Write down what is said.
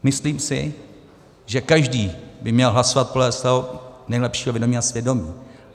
Myslím si, že každý by měl hlasovat podle svého nejlepšího vědomí a svědomí.